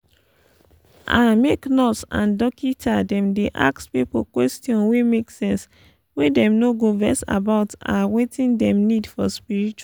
ah make nurse and dokita dem dey ask pipo question wey make sense wey dem no go vex about ah wetin dem need for spritual